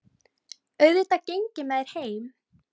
Auðvitað geng ég með þér heim